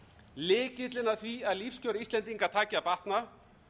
lykillinn að því að lífskjör íslendinga taki að batna